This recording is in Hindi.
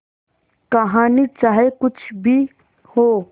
कहानी चाहे कुछ भी हो